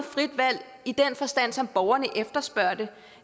frit valg i den forstand som borgerne efterspørger det